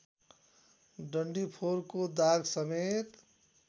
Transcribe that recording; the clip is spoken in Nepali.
डन्डीफोरको दागसमेत